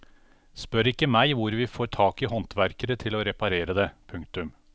Spør ikke meg hvor vi får tak i håndverkere til å reparere det. punktum